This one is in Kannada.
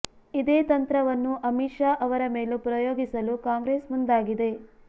ಇದೇ ತಂತ್ರವನ್ನು ಅಮಿತ್ ಶಾ ಅವರ ಮೇಲೂ ಪ್ರಯೋಗಿಸಲು ಕಾಂಗ್ರೆಸ್ ಮುಂದಾಗಿದೆ